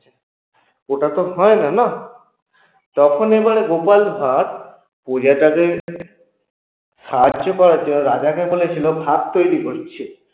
ওটা তো হয় না না? তখন এবারে গোপাল ভাড় প্রজাটাকে সাহায্য করার জন্য রাজাকে বলেছিল ভাত তৈরি করছে